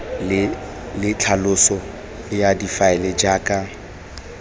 le tlhaloso ya difaele jaaka